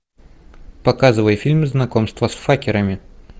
показывай фильм знакомство с факерами